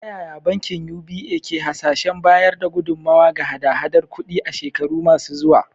Ta yaya bankin UBA ke hasashen bayar da gudummawa ga hada-hadar kudi a shekaru masu zuwa?